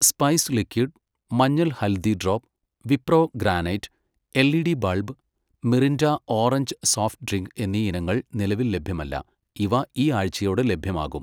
spice liquid മഞ്ഞൾ haldi drop, Wipro granite LED bulb, Mirinda orange soft drink എന്നീ ഇനങ്ങൾ നിലവിൽ ലഭ്യമല്ല, ഇവ ഈ ആഴ്ചയോടെ ലഭ്യമാകും